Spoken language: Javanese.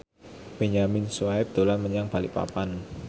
Benyamin Sueb dolan menyang Balikpapan